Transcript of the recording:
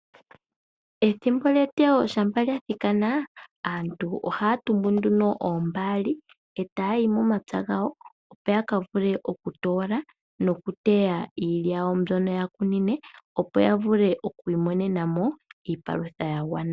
Ethimbo lyeteyo shampa lya thikana aantu ohaya tumbu nduno oombaali etaya yi momapya gawo opo ya kavule okutoola nokuteya iilya yawo mbyono ya kunine opo yavule okwiimonena mo iipalutha ya gwana.